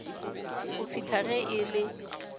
go fihla ge e le